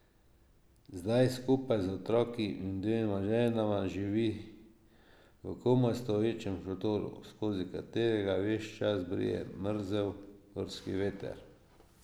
Zdaj skupaj z otroki in dvema ženama živi v komaj stoječem šotoru, skozi katerega ves čas brije mrzel gorski veter.